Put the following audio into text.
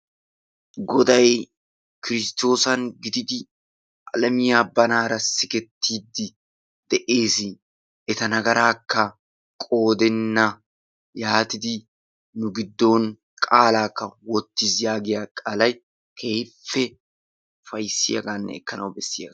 Goday kiristoossan gididi alammiya banaara sigetidi d'ees, eta nagaraakka qoodenna yaatiddi nu giddon qaalaakka wottiis yaagiya qaalay keehippe ufayssiyaagaanne ekkanawu bessiyaagaa.